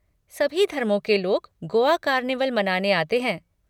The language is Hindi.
सभी धर्मों के लोग गोआ कार्निवल मनाने आते हैं।